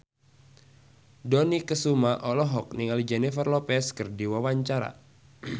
Dony Kesuma olohok ningali Jennifer Lopez keur diwawancara